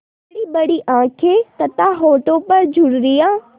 बड़ीबड़ी आँखें तथा होठों पर झुर्रियाँ